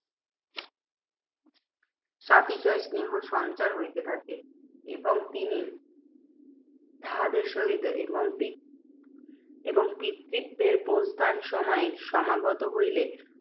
সাতিশয় স্নেহসঞ্চার হইতে থাকে এবং তিনি তাহাদের সহিত এবং এবং পিতৃব্যের প্রস্থানসময় সমাগত হইলে,